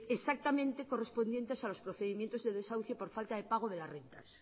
exactamente correspondientes a los procedimientos de desahucio por falta de pago de las rentas